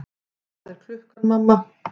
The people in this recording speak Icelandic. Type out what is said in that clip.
Hvað er klukkan, mamma?